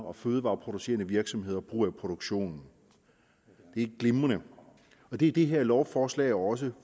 og fødevareproducerende virksomheder bruger i produktionen er glimrende det er det her lovforslag også